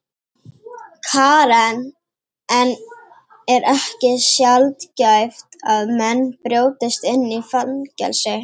Karen: En er ekki sjaldgæft að menn brjótist inn í fangelsi?